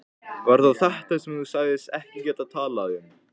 Var það þetta sem þú sagðist ekki geta talað um?